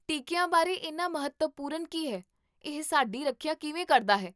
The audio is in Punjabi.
ਟੀਕੀਆਂ ਬਾਰੇ ਇੰਨਾ ਮਹੱਤਵਪੂਰਨ ਕੀ ਹੈ?